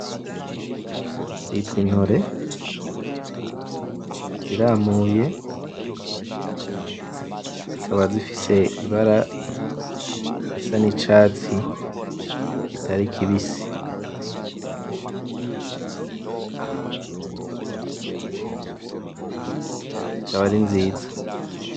Zitwa Intore ziramuye, zikaba zifise Ibara risa n'Icatsi kitari kibisi, zikaba ari nziza.